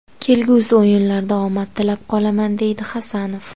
Kelgusi o‘yinlarda omad tilab qolaman”, deydi Hasanov.